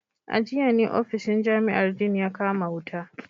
A jiya ne ofishin jami’ar Dean ya kama wuta